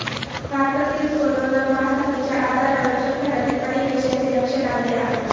भारतातील करोना महासाथीच्या आजारावर जगभरातील अनेक देशांचे लक्ष लागले आहे